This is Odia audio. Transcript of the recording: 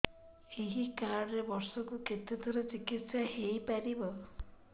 ଏଇ କାର୍ଡ ରେ ବର୍ଷକୁ କେତେ ଥର ଚିକିତ୍ସା ହେଇପାରିବ